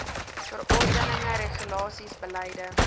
verordeninge regulasies beleide